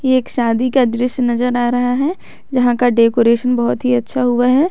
एक शादी का दृश्य नजर आ रहा है जहां का डेकोरेशन बहुत ही अच्छा हुआ है।